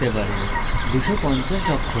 অথবা 100 অক্ষর দীর্ঘ